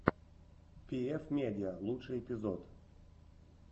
пиэф медиа лучший эпизод